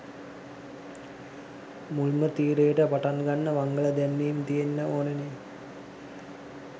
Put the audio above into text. මුල්ම තීරයට පටන් ගන්න මංගල දැන්වීම් තියෙන්න ඕනනේ.